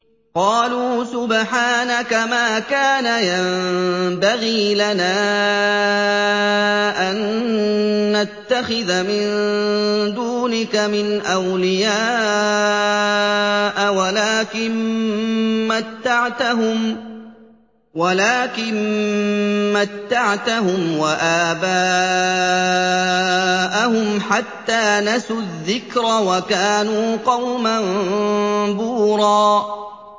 قَالُوا سُبْحَانَكَ مَا كَانَ يَنبَغِي لَنَا أَن نَّتَّخِذَ مِن دُونِكَ مِنْ أَوْلِيَاءَ وَلَٰكِن مَّتَّعْتَهُمْ وَآبَاءَهُمْ حَتَّىٰ نَسُوا الذِّكْرَ وَكَانُوا قَوْمًا بُورًا